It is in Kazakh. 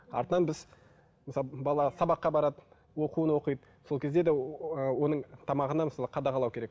артынан біз мысалы бала сабаққа барады оқуын оқиды сол кезде де ы оның тамағына мысалы қадағалау керек